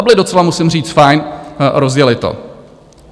A byli docela, musím říci, fajn, rozjeli to.